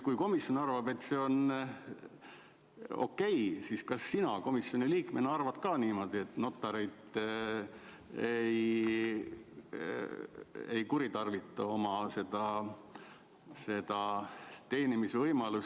Kui komisjon arvab, et see on okei, siis kas sina komisjoni liikmena arvad ka niimoodi, et notarid ei kuritarvita seda teenimisvõimalust?